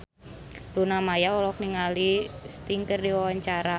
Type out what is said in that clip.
Luna Maya olohok ningali Sting keur diwawancara